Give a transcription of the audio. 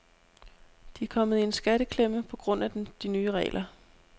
De er kommet i en skatteklemme på grund af de nye regler.